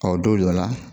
Ɔ don dɔ la